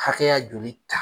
Kakɛya joli ta